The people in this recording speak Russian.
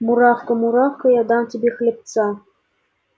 муравка муравка я дам тебе хлебца